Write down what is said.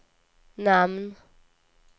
namn